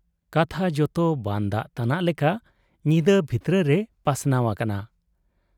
ᱠᱟᱛᱷᱟ ᱡᱚᱛᱚ ᱵᱟᱱ ᱫᱟᱜ ᱛᱟᱱᱟᱜ ᱞᱮᱠᱟ ᱧᱤᱫᱟᱹ ᱵᱷᱤᱛᱨᱟᱹ ᱨᱮ ᱯᱟᱥᱱᱟᱣ ᱟᱠᱟᱱᱟ ᱾